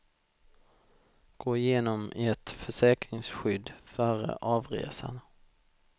Gå igenom ert försäkringsskydd före avresan.